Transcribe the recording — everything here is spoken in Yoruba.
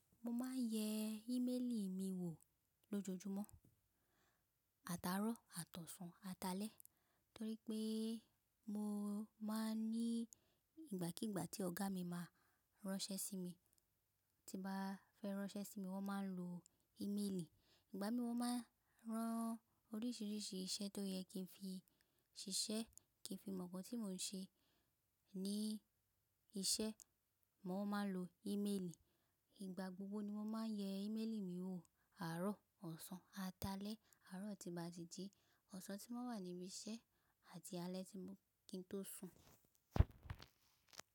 Mo máa ń yẹ ímélì mi wò lójojúmọ́, àtàárọ̀, àtọ̀sàn, atalẹ̀. Torí pé mo máa ń ní ìgbàkígbà tí ọ̀gá mi máa ránṣẹ́ sí mi, tí bá fẹ́ ránṣẹ́ sí mi wọ́n máa ń lo ímélì. Ìgbà mí wọ́n máa ń rán oríṣìíríṣìí iṣẹ́ tó yẹ kí n fi ṣiṣẹ́, kí n fi mọ̀ nkàn tí mò ń ṣe ní iṣẹ́, mo máa ń lo ímélì. Ìgbà gbogbo ni mo máa ń yẹ ímélì mi wò àárọ̀, ọ̀sán, atalẹ̀. Àárọ̀ tí bá ti di, ọ̀sán tí wọ́n wà níbi iṣẹ́ àti alẹ́ tí mo kí n tó sùn.